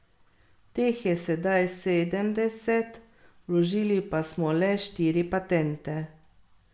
Teh je sedaj sedemdeset, vložili pa smo le štiri patente.